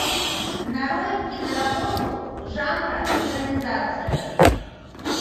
нарой киноработу жанра экранизация